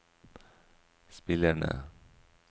spillerne